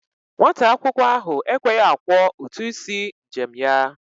Nwata akwụkwọ ahụ ekweghi akwọ ụtụ isi njem ya.